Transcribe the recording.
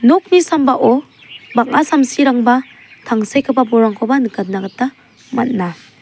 nokni sambao bang·a samsirangba tangsekgipa bolrangkoba nikatna gita man·a.